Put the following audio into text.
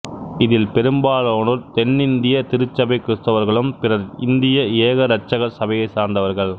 இதில் பெரும்பாலானோர் தென்னிந்திய திருச்சபை கிறிஸ்தவர்களும் பிறர் இந்திய ஏக இரட்சகர் சபையைச் சார்ந்தவர்கள்